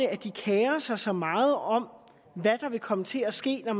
at de kerer sig så meget om hvad der vil komme til at ske når